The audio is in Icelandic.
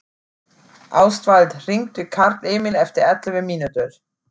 Ástvald, hringdu í Karlemil eftir ellefu mínútur.